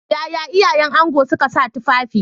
Yaya iyayen ango suka sa tufafi?